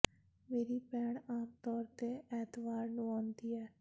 ਮੇਰੀ ਭੈਣ ਆਮ ਤੌਰ ਤੇ ਐਤਵਾਰ ਨੂੰ ਆਉਂਦੀ ਹੈ